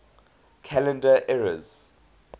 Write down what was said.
calendar eras